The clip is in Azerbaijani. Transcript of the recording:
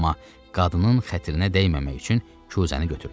Amma qadının xətrinə dəyməmək üçün küsəni götürdü.